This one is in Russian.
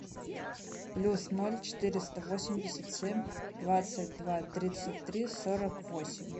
плюс ноль четыреста восемьдесят семь двадцать два тридцать три сорок восемь